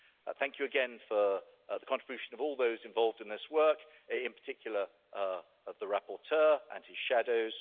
Thank you again for the contribution of all those involved in this work, in particular the rapporteur and his shadows.